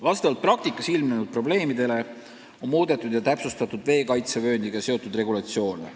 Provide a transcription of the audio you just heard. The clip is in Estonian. Arvestades praktikas ilmnenud probleeme, on muudetud veekaitsevööndiga seotud regulatsiooni.